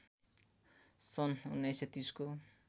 सन् १९३० को